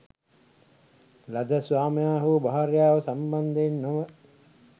ලද ස්වාමියා හෝ භාර්යාව සම්බන්ධයෙන් නොව